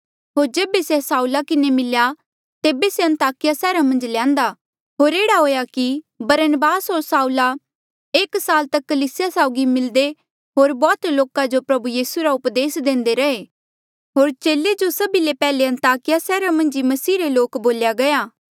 होर जेबे से साउला किन्हें मिल्या तेबे से अन्ताकिया सैहरा मन्झ ल्यान्देया होर एह्ड़ा हुएया कि बरनबास होर साउला एक साल तक कलीसिया साउगी मिलदे होर बौह्त लोका जो प्रभु यीसू रा उपदेस देंदे रैहे होर चेले जो सभी ले पैहले अन्ताकिया सैहरा मन्झ ही मसीहा रे लोक बोल्या गया